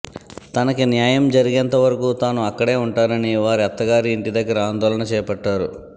తనకి న్యాయం జరిగేంత వరకు తాను అక్కడే ఉంటానని వారి అత్త గారి ఇంటి దగ్గర ఆందోళన చేపట్టారు